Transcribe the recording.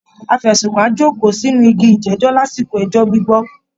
Afẹ̀sùnkàn á jókòó sínú igi ìjẹ́jọ́ lásìkò ẹjọ́ gbígbọ́